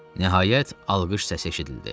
Nəhayət, alqış səsi eşidildi.